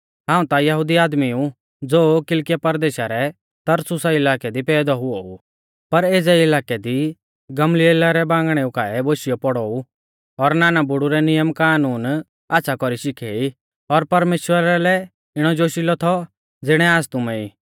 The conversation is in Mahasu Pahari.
हाऊं ता यहुदी आदमी ऊ ज़ो किलकिया परदेशा रै तरसुसा इलाकै दी पैदौ हुऔ ऊ पर एज़ै इलाकै दी गमलीएला रै बांगणेऊ काऐ बोशियौ पौड़ौ ऊ और नाना बुड़ु रै नियम कानून आच़्छ़ा कौरी शिखे ई और परमेश्‍वरा लै इणौ जोशिलौ थौ ज़िणै आज़ तुमै ई